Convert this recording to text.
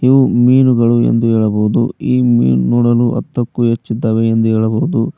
ಇವು ಮೀನುಗಳು ಎಂದು ಹೇಳಬಹುದು ಈ ಮೀನು ನೋಡಲು ಹತ್ತಕ್ಕೂ ಹೆಚ್ಚಿದ್ದಾವೆ ಎಂದು ಹೇಳಬಹುದು.